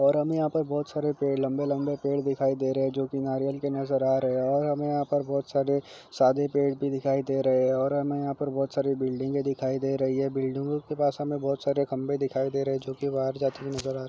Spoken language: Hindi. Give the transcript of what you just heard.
और हमें यहाँ पर बहुत सारे पेड़ लंबे लंबे पेड़ दिखाई दे रहे हैं जो की नारियल के नजर आ रहे हैं और हमे यहाँ पर बहुत सारे सादे पेड़ भी दिखाई दे रहे हैं और हमे यहाँ पर बहुत सारे बिल्डिंगे दिखाई दे रही हैं बिल्डिंगों के पास हमे बहुत सारे खंबे दिखाई दे रहे हैं जो कि बाहर जाते हुए नज़र आ --